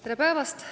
Tere päevast!